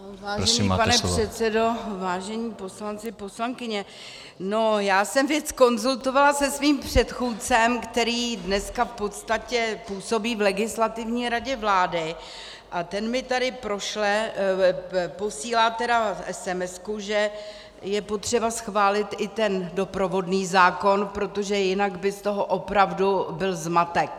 Vážený pane předsedo, vážení poslanci, poslankyně, já jsem věc konzultovala se svým předchůdcem, který dneska v podstatě působí v Legislativní radě vlády, a ten mi tady posílá esemesku, že je potřeba schválit i ten doprovodný zákon, protože jinak by z toho opravdu byl zmatek.